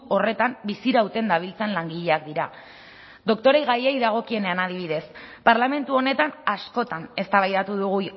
horretan bizirauten dabiltzan langileak dira doktoregaiei dagokienean adibidez parlamentu honetan askotan eztabaidatu dugu